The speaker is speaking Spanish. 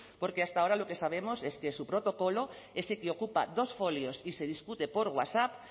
porque hasta ahora lo que sabemos es que su protocolo ese que ocupa dos folios y se discute por whatsapp